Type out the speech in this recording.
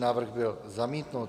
Návrh byl zamítnut.